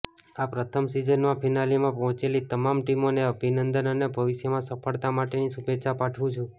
આ પ્રથમ સિઝનમાં ફિનાલેમાં પહોંચેલી તમામ ટીમોને અભિનંદન અને ભવિષ્યમાં સફળતા માટેની શુભેચ્છા પાઠવું છું